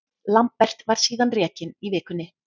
Lambert var síðan rekinn í vikunni.